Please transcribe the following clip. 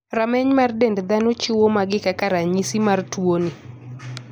Rameny mar dend dhano chiwo magi kaka ranyisi mar tuo ni.